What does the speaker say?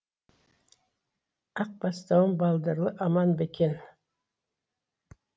ақ бастауым балдырлы аман ба екен